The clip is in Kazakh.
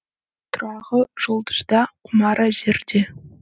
тұрағы жұлдызда құмары жерде